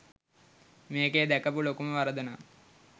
මේකේ දැකපු ලොකුම වරදනම්